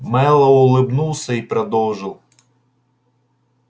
мэллоу улыбнулся и продолжил